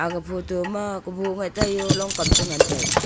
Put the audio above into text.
ag photo ma kobuh ngai taiyo long kam chi ngantaiga.